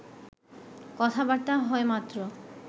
কথাবার্তা হয় মাত্র